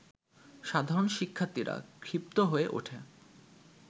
সাধারণ শিক্ষার্থীরা ক্ষিপ্ত হয়ে ওঠে